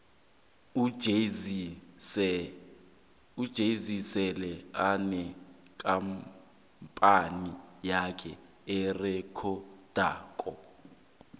ujay zee sele anekampani yakhe erekhodako